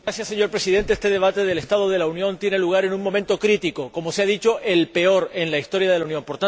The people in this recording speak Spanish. Señor Presidente, este debate sobre el estado de la Unión tiene lugar en un momento crítico, como se ha dicho el peor en la historia de la Unión.